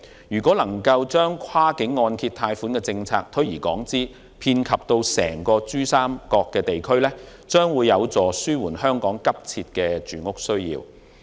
如能將跨境按揭貸款政策推而廣之，遍及整個珠三角地區，將有助紓緩香港急切的住屋需要。